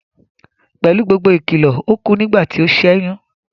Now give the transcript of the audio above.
Pẹ̀lú gbogbo ìkìlọ̀, ó kú nígbà tí ó sẹ́yún